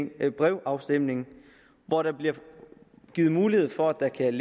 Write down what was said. ved brevafstemning hvor der bliver givet mulighed for at der kan